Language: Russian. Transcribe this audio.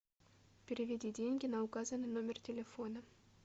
переведи деньги на указанный номер телефона